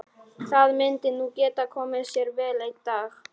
Það myndi nú geta komið sér vel einn daginn.